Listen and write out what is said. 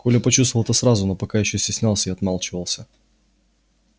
коля почувствовал это сразу но пока ещё стеснялся и отмалчивался